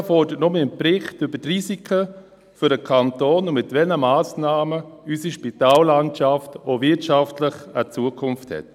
Die GPK fordert nun einen Bericht über die Risiken für den Kanton und darüber, mit welchen Massnahmen unsere Spitallandschaft auch wirtschaftlich eine Zukunft hat.